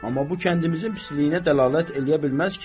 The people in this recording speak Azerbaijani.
Amma bu kəndimizin pisliyinə dəlalət eləyə bilməz ki?